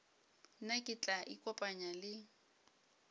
nna ke tla ikopanya le